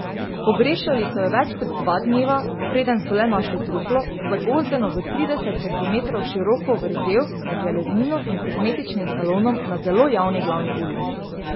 Pogrešali so jo več kot dva dneva, preden so le našli truplo, zagozdeno v trideset centimetrov široko vrzel med železnino in kozmetičnim salonom na zelo javni glavni ulici.